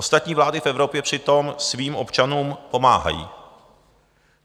Ostatní vlády v Evropě přitom svým občanům pomáhají.